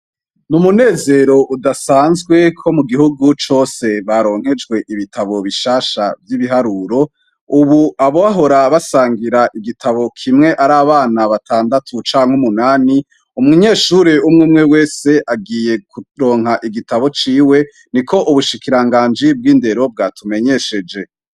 Ni umunezero udasanzwe ko mugihugu cose baronkejwe ibitabu bishasha vy'ibiharuro, ubu abahora basangira igitabo kimwe ari abana batandatu canke umunani, umunyeshure umwumwe wese agiye kuronka icitabu ciwe niko ubushikiranganji bw'indero bwatumenyesheje.